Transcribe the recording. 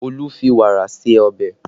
Olu fi wàrà ṣe ọbẹ̀